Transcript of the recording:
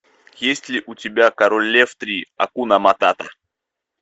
есть ли у тебя король лев три акуна матата